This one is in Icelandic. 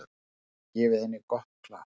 Gefið henni gott klapp.